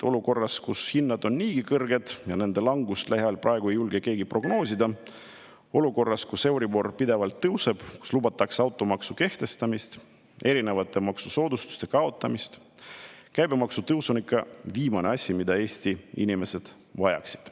Olukorras, kus hinnad on niigi kõrged ja nende langust lähiajal praegu ei julge keegi prognoosida, olukorras, kus euribor pidevalt tõuseb, kus lubatakse automaksu kehtestamist, maksusoodustuste kaotamist, on käibemaksu tõus küll viimane asi, mida Eesti inimesed vajavad.